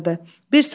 Bir sakit olun.